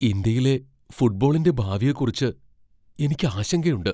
ഇന്ത്യയിലെ ഫുട്ബോളിന്റെ ഭാവിയെക്കുറിച്ച് എനിക്ക് ആശങ്കയുണ്ട്.